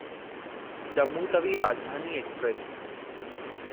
Jammu Tawi Rajdhani express